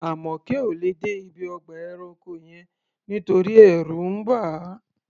Àmọ̀kẹ́ ò lè dé ibi ọgbà ẹranko yẹn nítorí ẹ̀rù ń bà á.